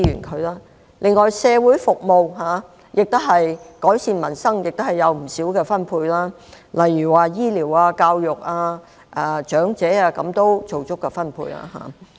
此外，在社會服務上，為改善民生，預算案亦提供了不少資源，令醫療、教育、長者等獲得足夠的分配。